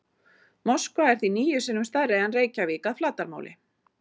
Moskva er því níu sinnum stærri en Reykjavík að flatarmáli.